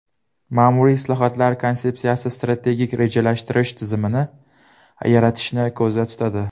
Ma’muriy islohotlar konsepsiyasi strategik rejalashtirish tizimini yaratishni ko‘zda tutadi.